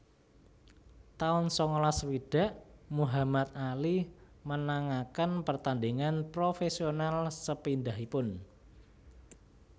taun sangalas swidak Muhammad Ali menangaken pertandhingan profésional sepindhahipun